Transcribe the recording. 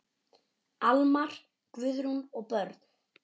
Almar, Guðrún og börn.